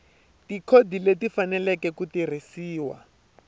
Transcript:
tikhodi leti faneleke ku tirhisiwa